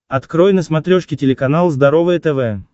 открой на смотрешке телеканал здоровое тв